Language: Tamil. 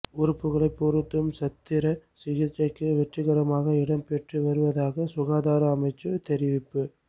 உறுப்புக்களைப் பொருத்தும் சத்திர சிகிச்சை வெற்றிகரமாக இடம்பெற்று வருவதாக சுகாதார அமைச்சு தெரிவிப்பு